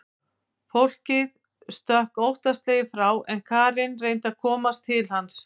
Fólkið stökk óttaslegið frá en Karen reyndi að komast til hans.